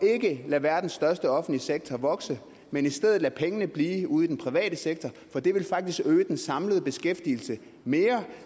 ikke at lade verdens største offentlige sektor vokse men i stedet lade pengene blive ude i den private sektor for det vil faktisk øge den samlede beskæftigelse mere